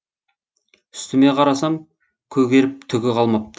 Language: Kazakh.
үстіме қарасам көгеріп түгі қалмапты